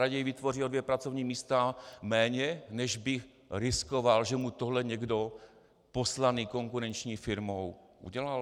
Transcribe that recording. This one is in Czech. Raději vytvoří o dvě pracovní místa méně, než by riskoval, že mu tohle někdo poslaný konkurenční firmou udělal?